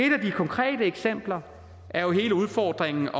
et af de konkrete eksempler er jo hele udfordringen